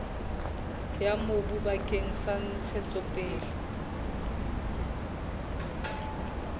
ya mobu bakeng sa ntshetsopele